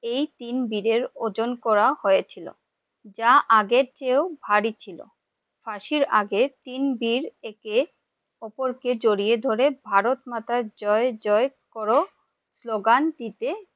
এই তিন বীরের ওজন হয়েছিল, যা আগে চেও ভারী ছিল, ফসির আগে তিন বীর একে উপর কে জড়িয়ে ধরে ভারত মাতার জয় জয় কর slogan দিতে ।